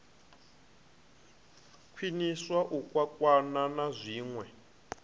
khwiniswa u kwakwana na zwinwe